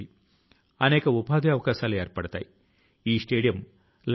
ఎందుకంటే క్షణం నష్టపోతే జ్ఞానం విద్య పోతాయి